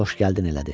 Xoş gəldin elədi.